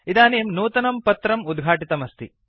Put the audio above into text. इदानीं नूतनं पत्रम्शीट् उद्घाटितमस्ति